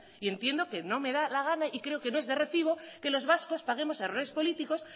y entiendo que no me da la gana y creo que no es de recibo que los vascos paguemos errores políticos